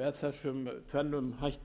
með þessum tvennum hætti má